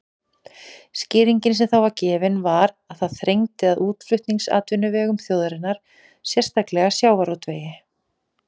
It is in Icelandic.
Skýringin sem þá var gefin var að það þrengdi að útflutningsatvinnuvegum þjóðarinnar, sérstaklega sjávarútvegi.